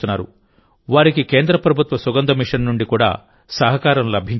వారికి కేంద్ర ప్రభుత్వ సుగంధ మిషన్ నుండి కూడా సహకారం లభించింది